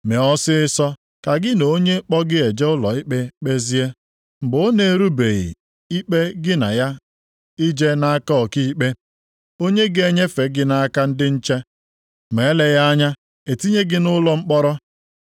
“Mee ọsịịsọ ka gị na onye kpọ gị eje ụlọ ikpe kpezie, mgbe ọ na-eburubeghị ikpe gị na ya jee nʼaka ọkaikpe, onye ga-enyefe gị nʼaka ndị nche, ma eleghị anya etinye gị nʼụlọ mkpọrọ.